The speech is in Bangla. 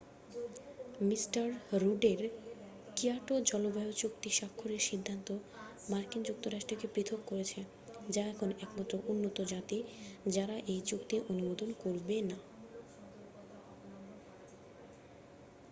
মিস্টার রুডের কিয়োটো জলবায়ু চুক্তি স্বাক্ষরের সিদ্ধান্ত মার্কিন যুক্তরাষ্ট্রকে পৃথক করেছে যা এখন একমাত্র উন্নত জাতি যারা এই চুক্তি অনুমোদন করবে না